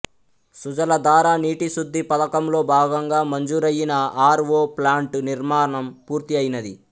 సుజలధార నీటి శుద్ధి పథకంలోభాగంగా మంజూరయిన ఆర్ ఓ ప్లాంటు నిర్మాణం పూర్తి అయినది